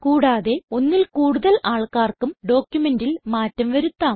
കൂടാതെ ഒന്നിൽ കൂടുതൽ ആൾക്കാർക്കും ഡോക്യുമെന്റിൽ മാറ്റം വരുത്താം